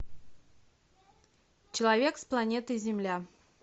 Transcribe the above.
человек с планеты земля